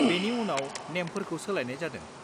-बेनि उनाव नेमफोरखौ सोलायनाय जादों।